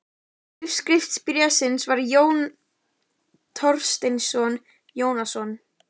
Undirskrift bréfsins var Jón Thorsteinsson Jónsson.